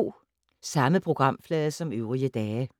Samme programflade som øvrige dage